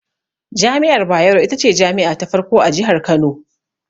Jami'ar Bayero, ita ce jami'a ta farko a Jihar Kano.